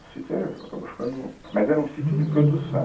O sítio, era, acabou ficando... Mas era um sítio de produção.